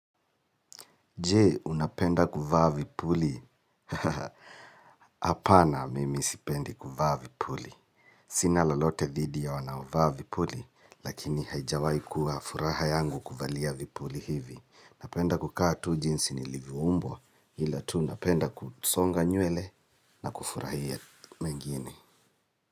Je, unapenda kuvaa vipuli? Apana mimi sipendi kuvaa vipuli. Sina lolote dhidi ya wanaovaa vipuli, lakini haijawahi kuwa furaha yangu kuvalia vipuli hivi. Napenda kukaa tu jinsi nilivyoumbwa, ila tu napenda kusonga nywele na kufurahia mengine.